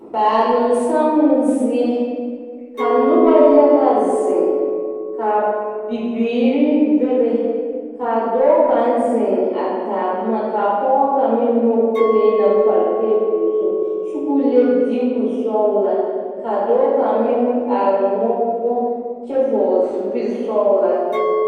Baalonsammo zie ka noba yaga zeŋ ka bibiiri bebe ka dɔɔ kaŋ zeŋ a taa boma ka pɔge meŋ nyɔge kolee naŋ pare tabol zu kyɛ k,o le diikosɔglaa ka dɔɔ kaŋ meŋ are moɔ poɔ kyɛ vɔgle zupilisɔglaa.